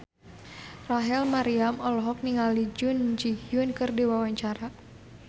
Rachel Maryam olohok ningali Jun Ji Hyun keur diwawancara